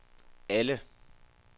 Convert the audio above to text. alle